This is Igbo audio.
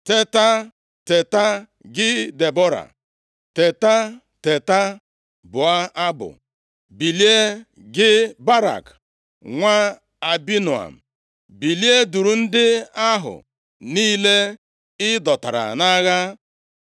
‘Teta, teta, gị Debọra! Teta, teta, bụọ abụ. Bilie, gị Barak nwa Abinoam, bilie! Duru ndị ahụ niile ị dọtara nʼagha.’